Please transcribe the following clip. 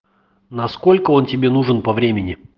насколько он тебе нужен по времени